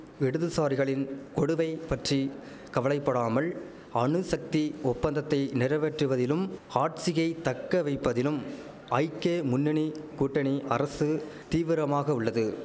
இடதுசாரிகளின் கொடுவை பற்றி கவலை படாமல் அணுசக்தி ஒப்பந்தத்தை நிறவேற்றுவதிலும் ஹாட்சியை தக்கவைப்பதிலும் ஐக்கே முன்னணி கூட்டணி அரசு தீவிரமாக உள்ளது